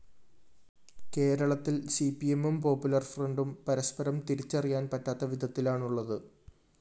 കേരളത്തില്‍ സിപിഎമ്മും പോപ്പുലർ ഫ്രണ്ടും പരസ്പരം തിരിച്ചറിയാന്‍ പറ്റാത്ത വിധത്തിലാണുള്ളത്